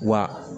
Wa